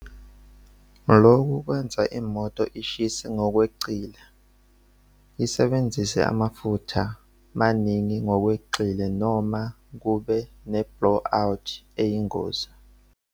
Loku kwenza imoto ishise ngokweqile, isebenzise amafutha maningi ngokweqile noma kube neblow out eyingozi.